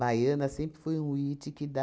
Baiana sempre foi o iti que dá.